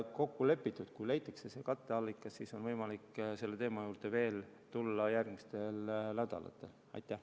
Kui leitakse katteallikas, siis on võimalik selle teema juurde veel järgmistel nädalatel tagasi tulla.